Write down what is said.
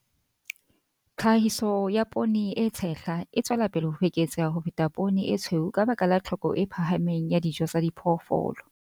Tlhahiso ya poone e tshehla e tswela pele ho eketseha ho feta poone e tshweu ka baka la tlhoko e phahameng ya dijo tsa diphoofolo.